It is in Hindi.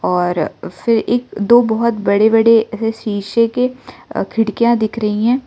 और फिर एक दो बहोत बड़े बड़े ऐसे शीशे के खिड़कियां दिख रही है।